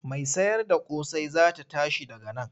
Mai sayarda ƙosai za ta tashi daga nan.